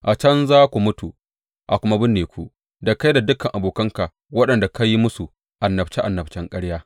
A can za ku mutu a kuma binne ku, da kai da dukan abokanka waɗanda ka yi musu annabce annabcen ƙarya.’